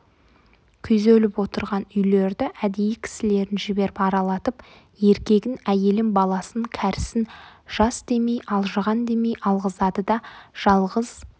күйзеліп отырған үйлерді әдейі кісілерін жіберіп аралатып еркегін әйелін баласын кәрісін жас демей алжыған демей алғызады да жалғыз